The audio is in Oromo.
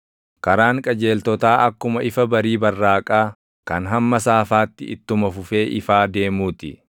Karaan qajeeltotaa akkuma ifa barii barraaqaa kan hamma saafaatti ittuma fufee ifaa deemuu ti.